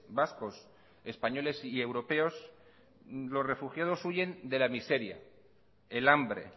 vascos españoles y europeos los refugiados huyen de la miseria el hambre